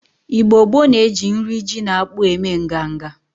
Igbo gboo na-eji nri ji na akpu eme nganga.